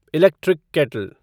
electric kettle